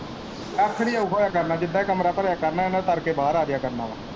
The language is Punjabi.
ਕੱਖ ਨੀ ਹੋਊਗਾ ਡਰ ਨਾ ਜਿੱਦਾਂ ਭਰਿਆ ਕਰਨਾ ਇਨਾਂ ਨੇ ਤਰ ਕੇ ਬਾਰ ਆਜਿਆ ਕਰਨਾ।